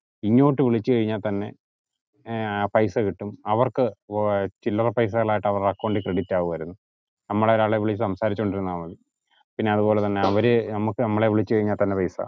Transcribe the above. ഇങ്ങോട് വിളിച് കഴിഞ്ഞാൽ തന്നെ ഏർ പൈസ കിട്ടും അവർക് ചില്ലറ പൈസകൾ ആയിട്ട് അവരുടെ account ൽ credit ആകുവായിരുന്നു. നമ്മളെ ഒരാളെ വിളിച് സംസാരിച് കൊണ്ട് ഇരുന്നാ മതി